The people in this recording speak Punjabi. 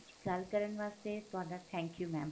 ਗੱਲ ਕਰਨ ਵਾਸਤੇ ਤੁਹਾਡਾ thank you mam